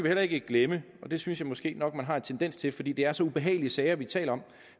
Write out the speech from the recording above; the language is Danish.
heller ikke glemme og det synes jeg måske nok man har en tendens til fordi det er så ubehagelige sager vi taler